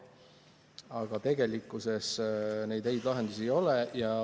Aga tegelikkuses häid lahendusi ei ole.